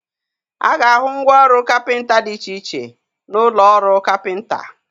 A ga-ahụ ngwa ọrụ kapịnta dị iche iche n'ụlọ ọrụ kapịnta.